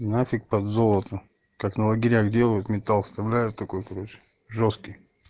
нафиг под золото как на лагерях делают металл вставляют такой короче жёсткий